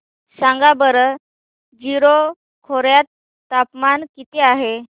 सांगा बरं जीरो खोर्यात तापमान किती आहे